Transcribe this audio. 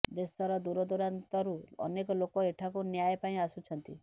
ଦେଶର ଦୂରଦୂରାନ୍ତରୁ ଅନେକ ଲୋକ ଏଠାକୁ ନ୍ୟାୟ ପାଇଁ ଆସୁଛନ୍ତି